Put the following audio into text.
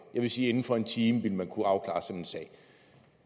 jeg vil sige inden for en time vil kunne afklare sådan en sag